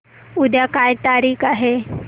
उद्या काय तारीख आहे